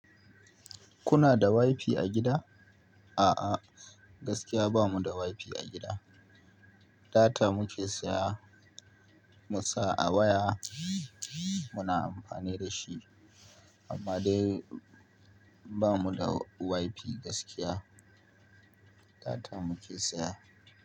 Kuna da wifi a gida? A'a gaskiya bamu da wifi a gida. Data muke siya musa a waya muna amfani dashi amma dai bamu da wifi gaskiya. Data muke siya.